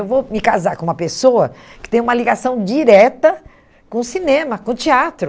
Eu vou me casar com uma pessoa que tem uma ligação direta com o cinema, com o teatro.